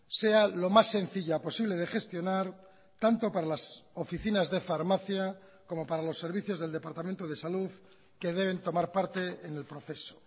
sea lo más sencilla posible de gestionar tanto para las oficinas de farmacia como para los servicios del departamento de salud que deben tomar parte en el proceso